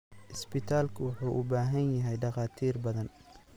Isbitaalku wuxuu u baahan yahay dhakhaatiir badan.